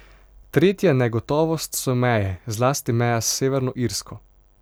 Tretja negotovost so meje, zlasti meja s Severno Irsko.